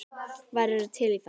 Værirðu til í það?